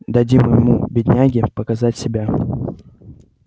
дадим ему бедняге показать себя